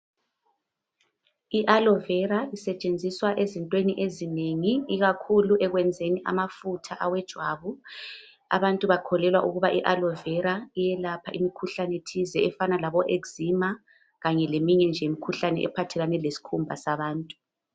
IAlovera isetshenziswa ezintweni ezinengi ikakhulu ekwenzeni amafutha awejwabu abantu bakholelwa ukuba iAlovera iyelapha imikhuhlane thize efana laboezcema kanye leminye nje imikhuhlane ephathelane lesikhumba sabantu.